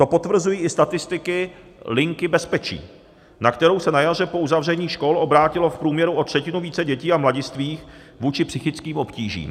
To potvrzují i statistiky Linky bezpečí, na kterou se na jaře po uzavření škol obrátilo v průměru o třetinu více dětí a mladistvých kvůli psychickým obtížím.